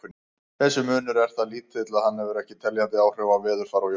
Þessi munur er það lítill að hann hefur ekki teljandi áhrif á veðurfar á jörðu.